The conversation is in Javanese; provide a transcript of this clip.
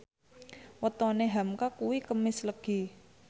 wetone hamka kuwi Kemis Legi